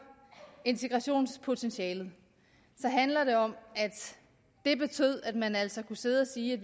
integrationspotentialet handler det om at man altså kunne sidde og sige at